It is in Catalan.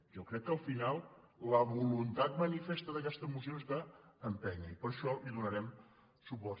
jo crec que al final la voluntat manifesta d’aquesta moció és d’empènyer i per això hi donarem suport